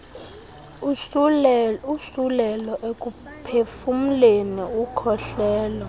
usulelo ekuphefumleni ukukhohlela